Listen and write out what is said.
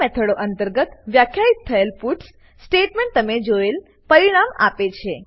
આ મેથડો અંતર્ગત વ્યાખ્યિત થયેલ પટ્સ સ્ટેટમેંટ તમે જોયેલ પરિણામ આપે છે